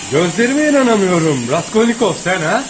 Gözlərimə inana bilmirəm, Raskolnikov, sən ha?